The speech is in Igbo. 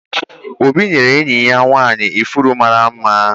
Obi nyere enyi ya nwanyị ifụrụ mara mma